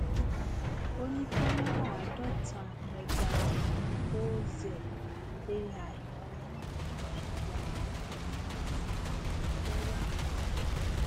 ó ní kámẹrà àádótamegaoixel ai lẹhìn fún yíya àwọn ìrántí ẹlẹwà wọnyẹn